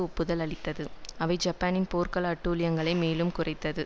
ஒப்புதல் அளித்தது அவை ஜப்பானின் போர்க்கால அட்டூழியங்களை மேலும் குறைத்து